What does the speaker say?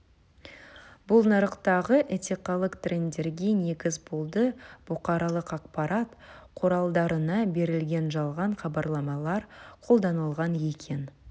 бұл нарықтағы этикалық трендерге негіз болды бұқаралық ақпарат құралдарына берілген жалған хабарламалар қолданылған екен